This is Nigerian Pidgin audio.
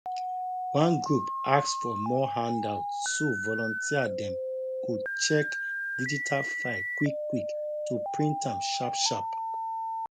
one group ask for more handout so volunteer dem go check digital file quickquick to print am sharpsharp